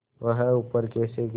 वह ऊपर कैसे गया